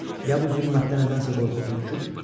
Ya bu zülmətdən nədənsə qorxub hürküküb?